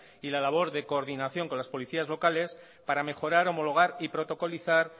y la labor de coordinación con las policías locales para mejorar homologar y protocolizar